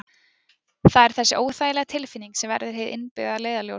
það er þessi óþægilega tilfinning sem verður hið innbyggða leiðarljós